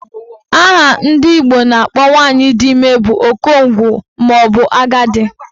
Aha ndị Igbo na-akpọ nwaanyị dị ime bụ okongwu maọbụ agadi